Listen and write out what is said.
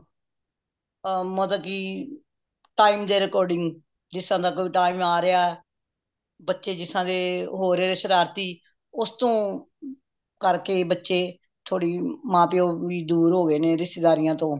ਅ ਮਤਲਬ ਕਿ time ਦੇ according ਜਿਸਤਰਾਂ ਦਾ ਕੋਈ ਟੀਮ ਆ ਰੇਯਾ ਬੱਚੇ ਜਿਸ ਤਰਾਂ ਦੇ ਹੋ ਰਹੇ ਨੇ ਸ਼ਰਾਰਤੀ ਉਸਤੋਂ ਕਰਕੇ ਬੱਚੇ ਥੋੜੇ ਮਾਂ ਪਿਓ ਵੀ ਦੂਰ ਹੋ ਗਏ ਨੇ ਰਿਸ਼ਤੇਦਾਰੀਆਂ ਤੋਂ